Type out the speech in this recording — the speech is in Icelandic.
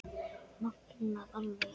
Magnað alveg.